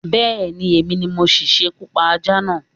Bé̩è̩ni, èmi ni mo si s̩ekú pa ajá náà